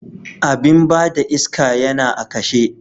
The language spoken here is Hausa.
Abin ba da iska yana a kashe.